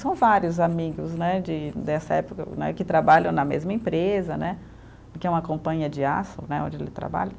São vários amigos né, de dessa época né, que trabalham na mesma empresa né, que é uma companhia de aço né, onde ele trabalha.